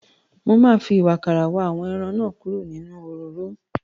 Mo máa fi ìwàkàrà wa àwọn ẹran náà kúrò nínú òróró.